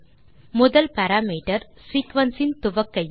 முதல் parameter sequence இன் துவக்க எண்